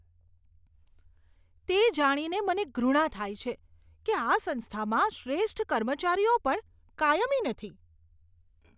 તે જાણીને મને ધૃણા થાય છે કે આ સંસ્થામાં શ્રેષ્ઠ કર્મચારીઓ પણ કાયમી નથી.